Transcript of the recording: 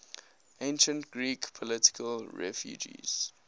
ancient greek political refugees